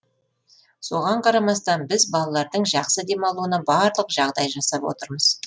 соған қарамастан біз балалардың жақсы демалуына барлық жағдай жасап отырмыз